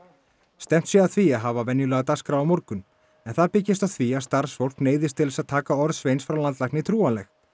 stefnt sé að því að hafa venjulega dagskrá á morgun en það byggist á því að starfsfólk neyðist til þess að taka orð Sveins frá landlækni trúanleg